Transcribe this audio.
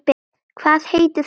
Hvað heitir þú aftur?